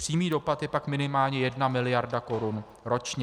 Přímý dopad je pak minimálně jedna miliarda korun ročně.